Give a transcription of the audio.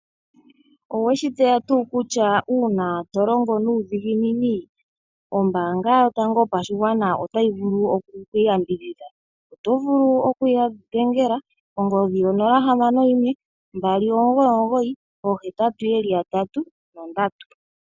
Oweshi tseya tuu kutya uuna to longo nuudhinginini ombanga yotango yopashingwana otayi vulu oku ku yambidhidha, otovulu okuya dhengela kongodhi yo 0612998883